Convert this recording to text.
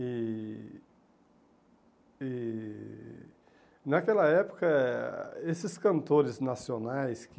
E... e Naquela época eh, esses cantores nacionais que...